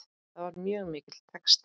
Það var mjög mikill texti.